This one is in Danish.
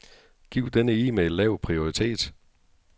Giv denne e-mail lav prioritet.